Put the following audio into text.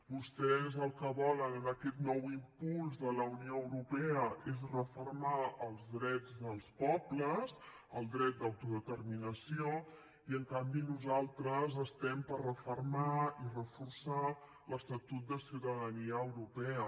vostès el que volen amb aquest nou impuls de la unió europea és refermar els drets dels pobles el dret d’autodeterminació i en canvi nosaltres estem per refermar i reforçar l’estatut de ciutadania europea